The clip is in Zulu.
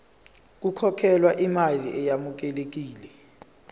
kukhokhelwe imali eyamukelekile